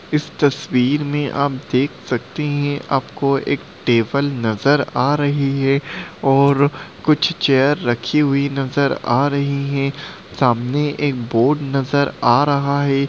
इस तस्वीर में आप देख सकते हैं आपको एक टेबल नजर आ रही है और कुछ चेयर रखी हुई नजर आ रही हैं। सामने एक बोर्ड नजर आ रहा है।